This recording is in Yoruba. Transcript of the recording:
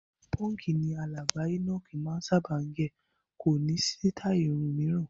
Pọ́ǹkì ni alàgbà Enoch máa ń sábà gẹ̀, kò ní sítáì irun mìíràn.